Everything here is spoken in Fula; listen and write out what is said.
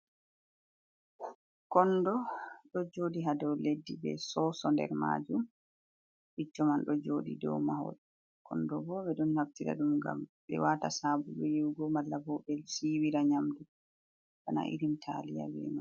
Kondo ɗo joɗi hado leddi be soso nder majum, bicco man ɗo joɗi dow mahol, kondo bo ɓe ɗon naftira ɗum ngam be wata sabulu yiwugo, mala bo be siwira nyamdu bana irim taliya wiria.